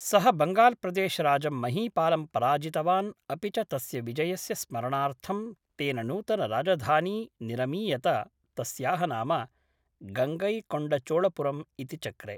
सः बङ्गाल्‌प्रदेशराजं महीपालं पराजितवान् अपि च तस्य विजयस्य स्मरणार्थं तेन नूतनराजधानी निरमीयत तस्याः नाम गङ्गैकोण्डचोळपुरम् इति चक्रे